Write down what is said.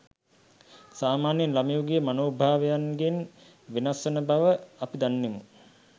සාමාන්‍ය ළමයෙකුගේ මනෝභාවයන්ගෙන් වෙනස් වන බව අපි දන්නෙමු